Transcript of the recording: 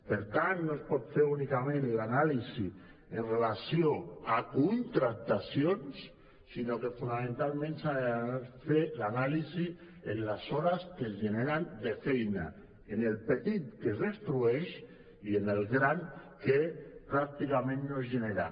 per tant no es pot fer únicament l’anàlisi amb relació a contractacions sinó que fonamentalment s’ha de fer l’anàlisi en les hores que es generen de feina en el petit que es destrueix i en el gran que pràcticament no es genera